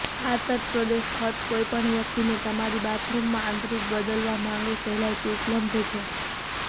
આ તટપ્રદેશ ખર્ચ કોઈપણ વ્યક્તિને તમારી બાથરૂમમાં આંતરિક બદલવા માંગે સહેલાઈથી ઉપલબ્ધ છે